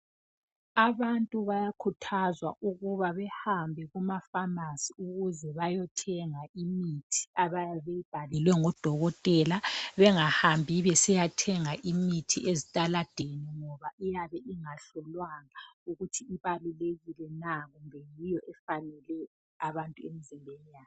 Abantu bayakhuthazwa ukuba behambe kumafamasi ukuze bayothenga imithi abayabe beyibhalelwe ngodokotela bengahambi besiyathenga imithi ezitaladeni ngoba iyabe ingahlolwanga ukuthi ibalulekile na kumbe ifanele abantu emzimbeni yabo.